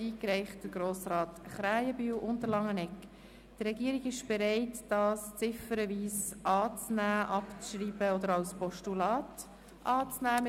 Die Regierung ist bereit, diese ziffernweise anzunehmen, abzuschreiben oder als Postulat entgegenzunehmen.